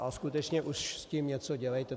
A skutečně už s tím něco dělejte!